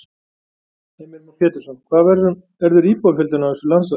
Heimir Már Pétursson: Hvað verður íbúafjöldinn á þessu landsvæði?